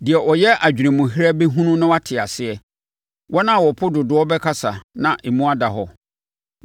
Deɛ ɔyɛ adwene mu herɛ bɛhunu na wate aseɛ, wɔn a wɔpo dodoɔ bɛkasa na emu ada hɔ.